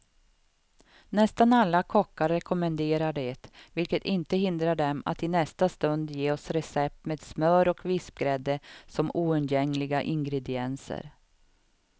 Nästan alla kockar rekommenderar det, vilket inte hindrar dem att i nästa stund ge oss recept med smör och vispgrädde som oundgängliga ingredienser.